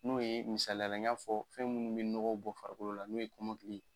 N'o ye misaliya la n y'a fɔ fɛn munnu be nɔgɔ bɔ farikolo la n'o ye kɔmɔkili ye